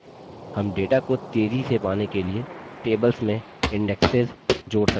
हम data को तेज़ी से पाने के लिए tables में इन्डेक्सिज़ सूचियाँ जोड़ सकते हैं